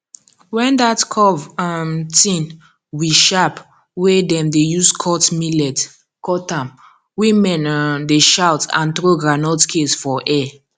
when that curve um thing we aharp wey dem dey use cut millet cut am women um dey shout and throw groundnut case for air